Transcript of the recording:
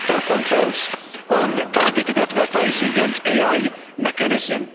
stricter controls on targeted advertising and the AI mechanism